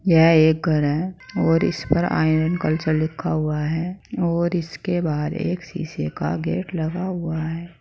यह एक घर है और इस पर आयरन कल्चर लिखा हुआ है और इसके बाहर एक शीशे का गेट लगा हुआ है।